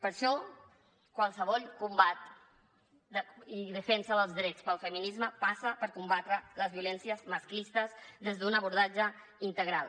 per això qualsevol combat i defensa dels drets pel feminisme passa per combatre les violències masclistes des d’un abordatge integral